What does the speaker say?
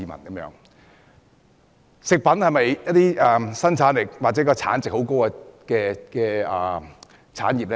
漁農業是否生產力或產值很高的產業呢？